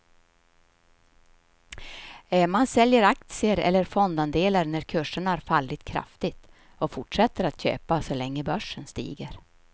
Man säljer aktier eller fondandelar när kurserna har fallit kraftigt och fortsätter köpa så länge börsen stiger.